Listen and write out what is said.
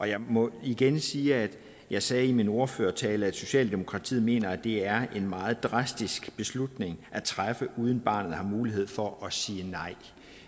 jeg må igen sige at jeg sagde i min ordførertale at socialdemokratiet mener at det er en meget drastisk beslutning at træffe uden barnet har mulighed for at sige nej